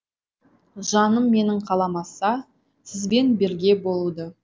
жаным менің қаламаса сізбен бірге болуды